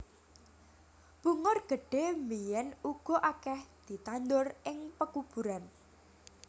Bungur gedhé biyèn uga akèh ditandur ing pekuburan